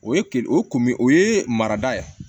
O ye kere o kun bɛ o ye marada ye